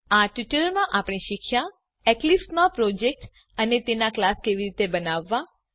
આ ટ્યુટોરીયલમાં આપણે શીખ્યાં એક્લીપ્સ માં પ્રોજેક્ટ અને તેનો કલાસ કેવી રીતે બનાવવાં